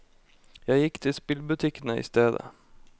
Jeg gikk til spillbutikkene i stedet.